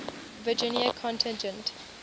virginia contingent